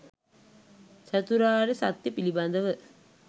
චතුරාර්ය සත්‍යය පිළිබඳව